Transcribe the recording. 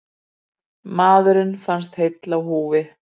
Maðurinn fannst heill á húfi